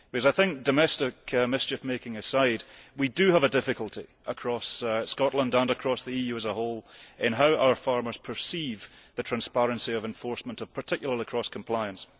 I think that domestic mischief making aside, we do have a difficulty across Scotland, and across the EU as a whole, in how our farmers perceive the transparency of enforcement, particularly of cross compliance.